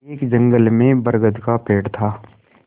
एक जंगल में बरगद का पेड़ था